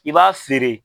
I b'a feere